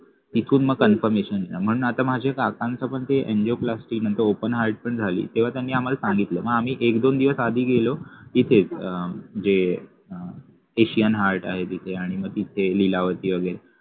इकडून मग confirmation येत म्हणून आता माझ्या काकांचं पण ते angioplasty म्हणजे open heart पण झाली तेव्हा त्यांनी आम्हाला सांगितलं मग आम्ही एक दोन दिवस आधी गेलो इथे asian heart आहे वगैरे तिथे जे लीलावती वगैरे